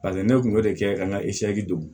Paseke ne kun b'o de kɛ ka n ka don